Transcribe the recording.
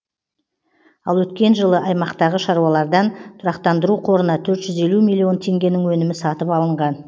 ал өткен жылы аймақтағы шаруалардан тұрақтандыру қорына төрт жүз елу миллион теңгенің өнімі сатып алынған